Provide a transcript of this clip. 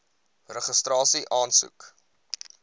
registrasieaansoek